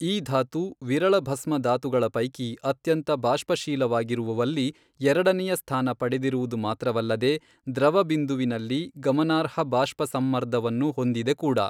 ಈ ಧಾತು ವಿರಳಭಸ್ಮ ಧಾತುಗಳ ಪೈಕಿ ಅತ್ಯಂತ ಬಾಷ್ಪಶೀಲವಾಗಿರುವುವಲ್ಲಿ ಎರಡನೆಯ ಸ್ಥಾನ ಪಡೆದಿರುವುದು ಮಾತ್ರವಲ್ಲದೇ ದ್ರವಬಿಂದುವಿನಲ್ಲಿ ಗಮನಾರ್ಹ ಬಾಷ್ಪ ಸಂಮರ್ದವನ್ನು ಹೊಂದಿದೆ ಕೂಡ.